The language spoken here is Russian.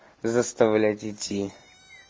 заставлять идти